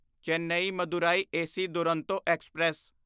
Chennai Madurai AC Duronto express